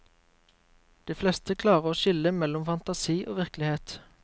De fleste klarer å skille mellom fantasi og virkelighet.